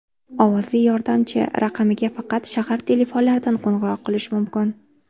Ovozli yordamchi raqamiga faqat shahar telefonlaridan qo‘ng‘iroq qilish mumkin.